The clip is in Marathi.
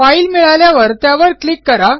फाईल मिळाल्यावर त्यावर क्लिक करा